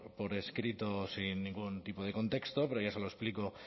por escrito sin ningún tipo de contexto pero yo se lo explico